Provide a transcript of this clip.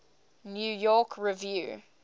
new york review